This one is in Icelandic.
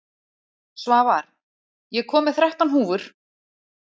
Svavar, ég kom með þrettán húfur!